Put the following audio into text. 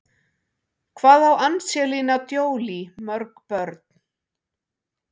Hvað á Angelina Jolie mörg börn?